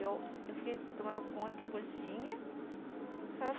Eu eu fiquei tomando conta da cozinha.